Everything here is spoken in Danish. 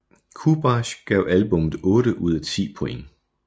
Kubaschk gav albummet otte ud af 10 point